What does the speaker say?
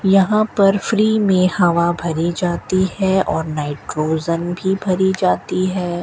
यहां पर फ्री में हवा भरी जाती है और नाइट्रोजन भी भरी जाती है।